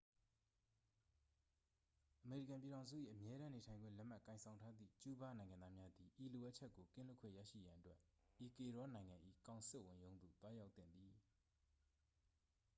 အမေရိကန်ပြည်ထောင်စု၏ အမြဲတမ်းနေထိုင်ခွင့် လက်မှတ်ကိုင်ဆောင်ထားသည့် ကျူးဘား နိုင်ငံသားများသည် ဤလိုအပ်ချက်ကို ကင်းလွတ်ခွင့်ရရှိရန်အတွက် အီကွေဒေါနိုင်ငံ၏ ကောင်စစ်ဝန်ရုံးသို့ သွားရောက်သင့်သည်